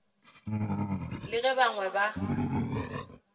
le ge ba bangwe ba